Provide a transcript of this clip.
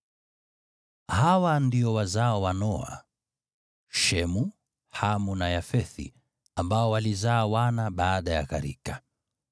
Hawa ndio wazao wa Noa: Shemu, Hamu na Yafethi, ambao walizaa wana baada ya gharika.